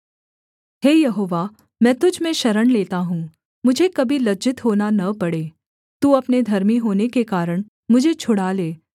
हे Jehovah मैं तुझ में शरण लेता हूँ मुझे कभी लज्जित होना न पड़े तू अपने धर्मी होने के कारण मुझे छुड़ा ले